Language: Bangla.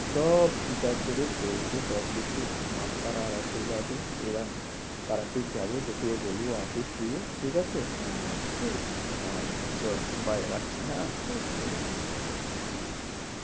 সব ঠিক আছে রে, চলছে সব কিছু, মা তারার আশীর্বাদে, এরম তারাপীঠ যাবো তোকেও বলব আসিস তুইও। ঠিক আছে। হ্যাঁ হ্যাঁ ঠিক আছে। হ্যাঁ চ bye রাখছি হ্যাঁ, ঠিক আছে হ্যাঁ, রাখ